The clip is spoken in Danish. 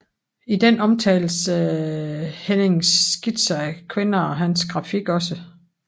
I den omtales Hennings Skitser af kvinder og hans grafik også